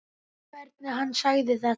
Og hvernig hann sagði þetta.